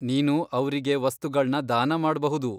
ನೀನು ಅವ್ರಿಗೆ ವಸ್ತುಗಳ್ನ ದಾನ ಮಾಡ್ಬಹುದು.